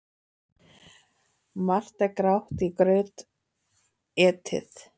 Margt er grátt í graut etið.